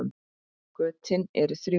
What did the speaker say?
Götin eru þrjú.